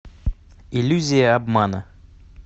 иллюзия обмана